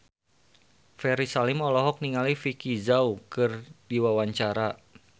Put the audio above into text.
Ferry Salim olohok ningali Vicki Zao keur diwawancara